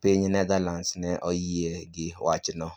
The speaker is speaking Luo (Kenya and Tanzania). piny Netherlands ne oyie gi wachno.